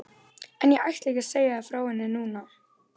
En ég ætla ekki að segja þér frá henni núna.